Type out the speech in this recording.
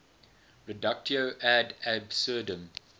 reductio ad absurdum